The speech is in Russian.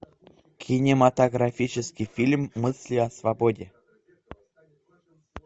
кинематографический фильм мысли о свободе